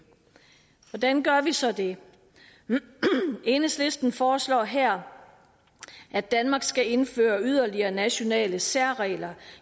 hvordan gør vi så det enhedslisten foreslår her at danmark skal indføre yderligere nationale særregler